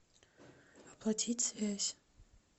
оплатить связь